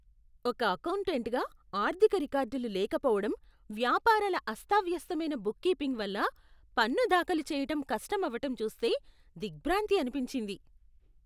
ఒక అకౌంటెంట్గా, ఆర్థిక రికార్డులు లేకపోవడం, వ్యాపారాల అస్తావ్యస్తమైన బుక్ కీపింగ్ వల్ల పన్ను దాఖలు చేయటం కష్టం అవ్వటం చూస్తే దిగ్భ్రాంతి అనిపించింది.